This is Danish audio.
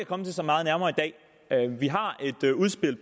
komme det så meget nærmere i dag vi har et udspil